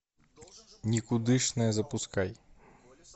никудышная запускай